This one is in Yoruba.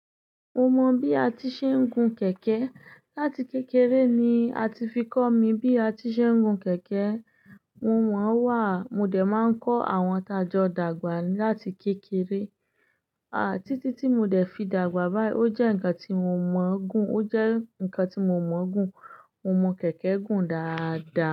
Mo mọ bí a ti ṣe ń gun kẹ̀kẹ́. Lati kékeré ni a ti fi kó mi bí a ti ṣe ń gun kẹ̀kẹ́. Mo mọ̀n wà, mo dẹ̀ máa ń kó àwọn tá jọ dàgbà láti kékeré. A, títí tí mo dẹ̀ fi dàgbà báyìí. O jẹ́ nǹkan tí mo mọ̀ gún, o jẹ́ nǹkan tí mo mọ̀ gún. Mo mọ kẹ̀kẹ́ gùn dáadaa.